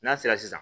N'a sera sisan